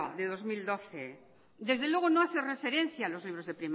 de dos mil doce desde luego no hace referencia a los libros